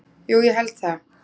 Jú ég held það.